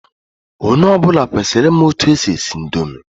Onye ọbụla kwesịrị ị ma etu e si esi indomi.